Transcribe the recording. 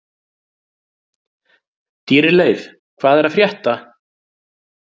Dýrleif, hvað er að frétta?